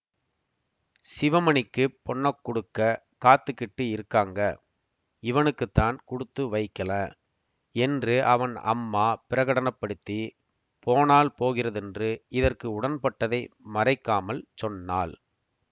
சிவமணிக்குப் பொண்ணக் குடுக்க காத்திக்கிட்டு இருக்காங்க இவனுக்குத்தான் குடுத்து வைக்கில என்று அவன் அம்மா பிரகடன படுத்தி போனால் போகிறதென்று இதற்கு உடன்பட்டதை மறைக்காமல் சொன்னாள்